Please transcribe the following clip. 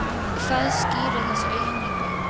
Hvað skýrir þessa aukningu?